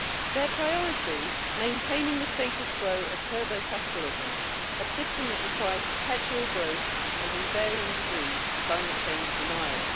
Their priority maintaining the status quo of turbo capitalism, a system that requires perpetual growth and, in varying degrees, climate change denial.